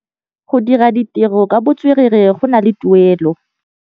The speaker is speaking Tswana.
Go dira ditirô ka botswerere go na le tuelô.